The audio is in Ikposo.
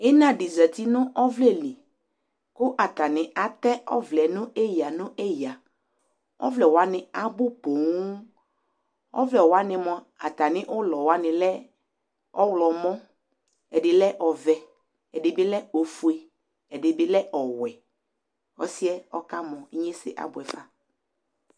Ina di zati nu ɔvlɛ li ku atani atɛ ɔvlɛ ɔvlɛ wani abʊ poo ɔvlɛ wani mua atami ulɔ wani lɛ ɔwlomɔ ɛdini lɛ ɔvɛ ɛdini lɛ ofue ɛdini lɛ ɔwuɛ ɔsiɛ ɔkamɔ inyesɛ di abuɛ fa